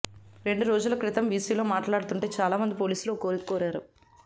రెండు రోజుల క్రితం వీసీలో మాట్లాడుతుంటే చాలా మంది పోలీసులు ఓ కోరిక కోరారు